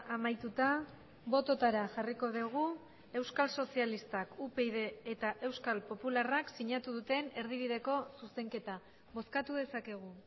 amaituta bototara jarriko dugu euskal sozialistak upyd eta euskal popularrak sinatu duten erdibideko zuzenketa bozkatu dezakegu